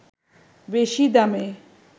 বেশি দামে